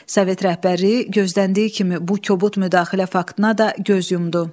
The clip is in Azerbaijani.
Sovet rəhbərliyi gözləndiyi kimi bu kobud müdaxilə faktına da göz yumdu.